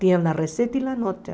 Tinha a receita e a nota.